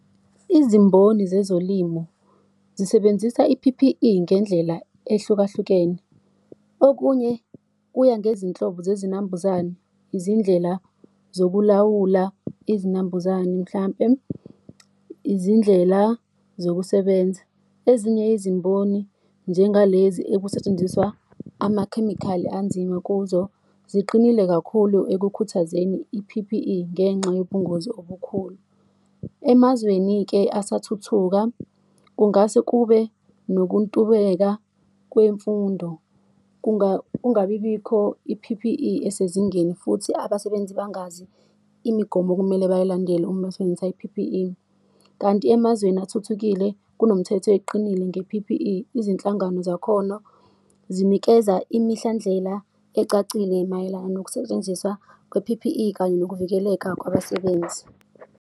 Izimboni zezolimo zisebenzisa i-P_P_E ngendlela ehlukahlukene, okunye kuya ngezinhlobo zezinambuzane, izindlela zokulawula izinambuzane mhlampe, izindlela zokusebenza. Ezinye izimboni, njengalezi ekusetshenziswa amakhemikhali anzima kuzo, ziqinile kakhulu ekukhuthazeni i-P_P_E ngenxa yobungozi obukhulu. Emazweni-ke asathuthuka, kungase kube nokuntuleka kwemfundo, kungabibikho i-P_P_E esezingeni, futhi abasebenzi bangazi imigomo okumele bayilandele uma basebenzisa i-P_P_E. Kanti emazweni athuthukile kunomthetho eqinile nge-P_P_E. Izinhlangano zakhona zinikeza imihlandlela ecacile mayelana nokusetshenziswa kwe-P_P_E kanye nokuvikeleka kwabasebenzi.